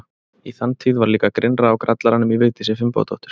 Í þann tíð var líka grynnra á grallaranum í Vigdísi Finnbogadóttur.